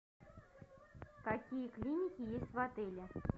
какие клиники есть в отеле